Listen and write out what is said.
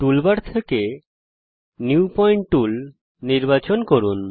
toolbar থেকে new point tool নির্বাচন করুন